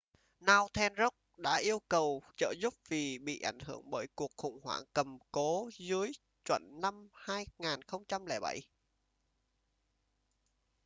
northern rock đã yêu cầu trợ giúp vì bị ảnh hưởng bởi cuộc khủng hoảng cầm cố dưới chuẩn năm 2007